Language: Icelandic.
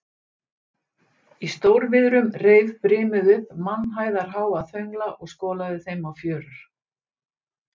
Í stórviðrum reif brimið upp mannhæðarháa þöngla og skolaði þeim á fjörur.